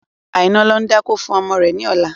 Aina ń lọ dákó fún ọmọ rẹ ni ọ̀la.